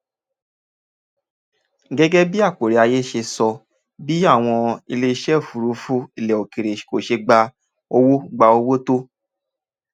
gẹ́gẹ́ bí akporiaye ṣe sọ bí àwọn iléeṣẹ́ òfuurufú ilẹ̀ òkèèrè kò ṣe gba owó gba owó tó